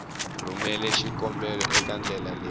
rhumela xikombelo eka endlelo leri